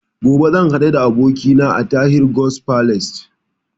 Eh, gobe zan haɗu da abokina a Tahir Guest Palace